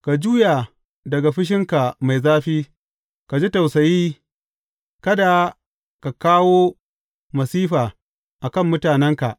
Ka juya daga fushinka mai zafi, ka ji tausayi, kada ka kawo masifa a kan mutanenka.